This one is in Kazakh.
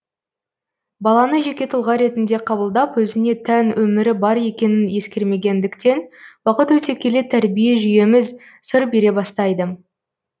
баланы жеке тұлға ретінде қабылдап өзіне тән өмірі бар екенін ескермегендіктен уақыт өте келе тәрбие жүйеміз сыр бере бастайды